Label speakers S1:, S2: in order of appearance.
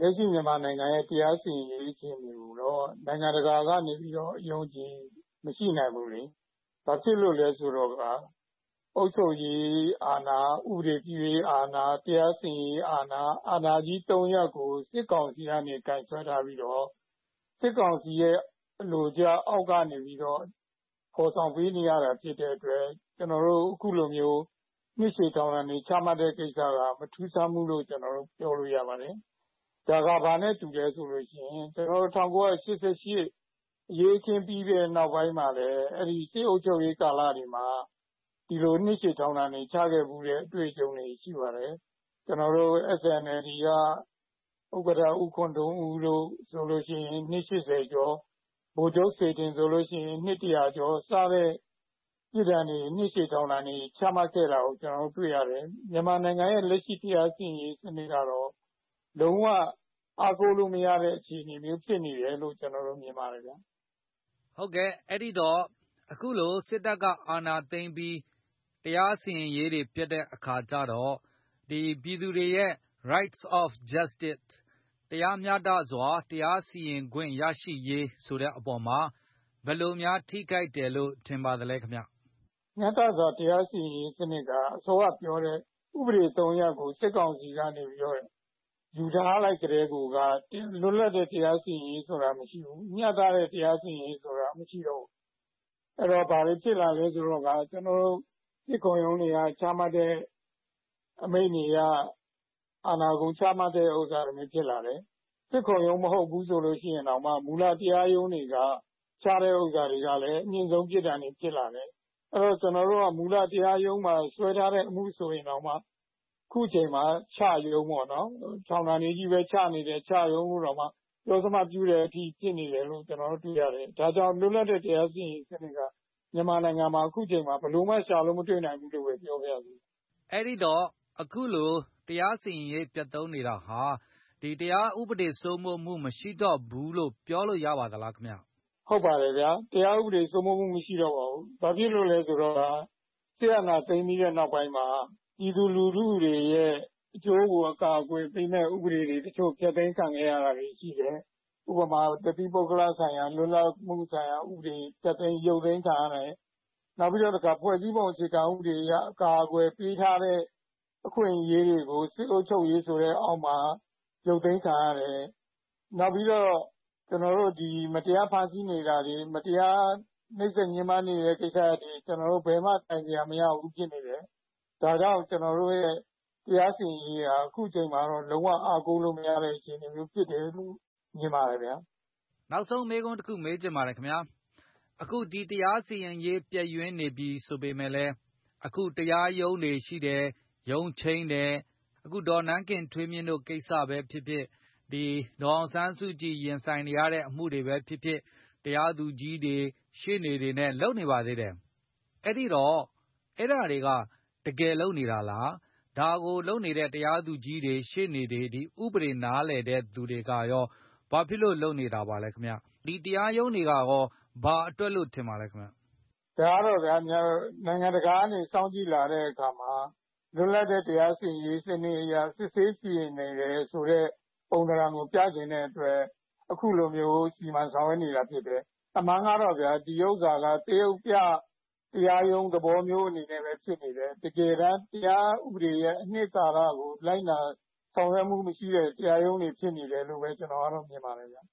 S1: လက်ရှိမြန်မာနိုင်ငံကတရားစီရင်ရေးအခြေအနေကိုတော့ နိုင်ငံတကာကနေပြီး တော့ အယုံအကြည် မရှိနိုင်ဘူးလေ ဘာဖြစ်လို့လဲဆိုတော့ အုပ်ချုပ်ရေးဘာဖြစ်လို့လဲဆိုတော့ အုပ်ချုပ်ရေးအာဏာ၊ ဥပဒေပြုရေးအာဏာ တရားစီရင်ရေးအာဏာ၊ အာဏာကြီး ၃ ရပ်ကို စစ်ကောင် စီကနေ ကိုင်စွဲထားပြီးတော့ စစ်ကောင်စီရဲ့အလိုကျအောက်ကနေ ဖေါ်ဆောင်ပေးနေရတာဖြစ် တဲ့အတွက် ကနော်တို့အခုလိုမျိုး နှစ်ရှည်ထောင်ဒါဏ်တွေချမှတ်တဲ့ကိစ္စက မထူးဆန်းဘူးလို့ပြောရ ပါတယ်။ ဒါကဘာနဲ့တူလဲဆိုလို့ရှိရင် ကျနော်တို့ ၁၉၈၈ အရေးအခင်းပြီးတဲ့နောက်ပိုင်းးမှာလည်း အဲဒိ စစ်အုပ်ချုပ်ရေးကာလတွေမှာ ဒီလို နှစ်ရှည်ထောင်ဒါဏ်တွေချခဲ့ဖူးတဲ့ အတွေ့အကြုံတွေရှိခဲ့ဖူူးပါတယ်။ ကျနော်တို့ SNLD က ဥက္ကဌ ဦးခွန်ထွန်းဦးတို့ဆိုလို့ရှိရင်နှစ် ၈၀ ကျော်၊ ဗိုလ်ချုပ်ဆေထင်ဆိုလို့ရှိရင် နှစ် ၁၀၀ ကျော် စတဲ့ပစ်ဒါဏ်တွေနှစ်ရှည်ထောင်ဒါတွေချမှတ်ခဲ့တာကို ကျနော်တို့တွေ့ရတယ်။ မြန်မာနိုင်ငံရဲ့လက်ရှိတရားစီရင်ရေးစနစ်ကတော့လုံးဝအားကိုးလို့မရတဲ့အခြေအနေမျိုးဖြစ်နေတယ် လို့ကျနော်တော့မြင်ပါတယ်ခင်ဗျ။”
S2: ဟုတ်ကဲ့ အဲဒိတော့ အခုလိုစစ်တပ်အာဏာသိမ်းပြီး တရားစီရင်ရေးတွေ ပျက်တဲ့အခါကျတော့ ပြည်သူတွေရဲ့ Rights of Justice တရားမျှတစွာတရားစီရင်ခွင့်ရရှိရေး ဆိုတဲ့အပေါ်ဘယ်လိုများ ထိခိုက်တယ်လို့ထင်ပါသလဲခင်ဗျ။
S1: မျှတစွာတရားစီရင်ရေးစနစ်က အစောကပြောတဲ့ ဥပဒေ ၃ ရပ်ကို စစ်ကောင်စီ ကနေယူထားလိုက် ကတည်းကိုကလွတ်လပ်တဲ့တရားစီရင်ရေး ဆိုတာမရှိဘူး မျှတတဲ့တရားစီရင်ရေး ဆိုတာမရှိဘူး၊ အဲတော့ဘာတွေဖြစ်လာလဲဆိုတော့ ကာကျနော်တိုစစ်ခုံရုံးတွေကနေချမှတ် အမိန့်တွေ က အာဏာကုန်ချမှတ်တာမျိုးဖြစ်လာတယ်။ စစ်ခုံရုံးမဟုတ်ဘူးဆိုလို့ရှိရင်တောင်မှ မူလတရားရုံးတွေ က ချတဲ့ဥစ္စာတွေကအမြင့်ဆုံးပစ်ဒါဏ်တွေဖြစ်လာတယ်။ အဲဒိတော့ကျနော်တို့က မူလတရားရုံးမှာ စွဲထားတဲ့ အမှုဆိုရင်တောင်မှ အခုချိန်မှာ “ချရုံး” ပေါ့နော်ထောင်ဒါဏ်တွေကြီးဘဲ ချနေတဲ့ “ချရုံး” လို့တောင်ပြော စမတ်ပြုတဲ့အထိဖြစ်နေတယ်လို့ကျနော်တို့တွေ့ရတယ်။ ဒါကြောင့်ကျနော်တို့ လွတ်လပ်တဲ့ တရားစီရင် ရေးစနစ်က အခုအချိန်မှာ မြန်မာနိုင်ငံမှာဘယ်လိုမှရှာလို့မတွေ့နိုင်ဘူးလို့ ဘဲပြောပါရစေ။
S2: အဲဒိတော့ အခုလို တရားစီရင်ရေးပျက်သုန်းနေတာဟာ တရားဥပဒေ စိုးမိုးမှုမရှိတော့ဘူးလို့ ပြောလို့ရပါသလားခင်ဗျ။
S1: ဟုတ်ပါတယ်ဗျာ တရားဥပဒေစိုးမိုးမှုမရှိတော့ပါဘူး။ ဘာဖြစ်လိုလဲဆိုတော့ စစ် အာဏာသိမ်းပြီးတဲ့ နောက်ပိုင်းမှာ ပြည်သူလူထုတွေရဲ့ အကျိုးကိုအကာအကွယ်ပေးမယ့် ဥပဒေတွေ တချို့ဖျက်သိမ်း ခံခဲ့ရတာရှိတယ်။ ဥပမာတသီးပုဂ္ဂလဆိုင်ရာ လွတ်လပ်မှုဆိုင်ရာဥပဒေ၊ ဖျက်သိမ်း၊ ရုတ်သိမ်းခံရတယ်၊ နောက်ပြီးတော့ဖွဲ့စည်းအုပ်ချုပ်ပုံ အခြေခံဥပဒေအရအကာအကွယ် ပေးထားတဲ့ အခွင့်အရေးတွေကို စစ်အုပ်ချုပ်ရေးဆိုတဲ့ အောက်မှာရုတ်သိမ်းခံရတယ်၊ နောက်ပြီးတော့ ကျနော်တို့ဒီ မတရားဖမ်းဆီးနေတာတွေ၊ မတရားနှိပ်စက်ညှင်းပန်းနေတဲ့ကိစ္စရပ်တွေကို ဘယ်မှာမှ တိုင်ကြားလို့ မရဖြစ်နေပါတယ်။ ဒါကြောင့်ကျနော်တို့ရဲ့တရားစီရင်ရေး ဟာအခုအချိန်မှာတော့လုံးဝအားကိုး လို့မရတဲ့အခြေအနေမျိုးဖြစ်တယ်လို့ မြင်ပါတယ်ဗျာ။
S2: နောက်ဆုံးမေးခွန်းတခုမေးပြပါရစေခင်ဗျ။ အခုဒီတရားစီရင်ရေးပျက်ယွင်း နေပြီဆိုပေမယ့်လည်း၊ အခုတရားရုံးတွေရှိတယ်၊ ရုံးချိန်းတယ်၊ အခုဒေါ်နန်းခင်ထွေးမြင့် တို့ကိစ္စဘဲ ဖြစ်ဖြစ်၊ ဒေါ်အောင်ဆန်းစုကြည် ရင်ဆိုင်နေရတဲ့အမှုတွေဘဲဖြစ်ဖြစ်၊ တရားသူကြီးတွေ၊ ရှေ့နေတွေနဲ့ လုပ်နေပါသေးတယ်။ အဲတော့ အဲဒါတွေကတကယ်လုပ်နေတာလား၊ အဲဒါကိုလုပ်နေတဲ့ တရားသူကြီး တွေ၊ ရှေ့နေတွေ၊ ဥပဒေကိုနားလည်တဲ့သူတွေကိုယ်တိုင်ကရော ဘာဖြစ်လို့ဒီလိုလုပ်နေတာလဲ၊ ဒီတော့ဒီတရားရုံးတွေကဘာအတွက်လဲ။
S1: ဒါကတော့ဗျာ နိုင်ငံတကာကနေစောင့်ကြည့်လာတဲ့အခါမှာ လွပ်တဲ့တရားစီရင်ရေး စနစ်အရ စစ်ဆေးစီရင်နေတယ်ဆိုတဲ့ပုံသဏ္ဍကိုပြချင်တဲ့အတွက် အခုလိုမျိုးစီမံ ဆောင်ရွက်နေတာ ဖြစ်တယ်၊ အမှန်ကတော့ဗျာ ဒီဥစ္စာက သရုပ်ပြ တရားရုံးသဘောမျိုးဘဲ ဖြစ်နေတယ်၊ တကယ်တမ်း တရားဥပဒေရဲ့ အနှစ်သာရကို ဆောင်ရွက်မှုမရှိတဲ့တရားရုံးတွေ ဖြစ်နေတယ်လို့ ဘဲကျနော်ကတော့ မြင်ပါတယ်ဗျ။